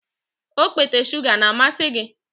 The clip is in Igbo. Okpete shuga na-amasị gị?